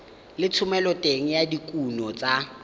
le thomeloteng ya dikuno tsa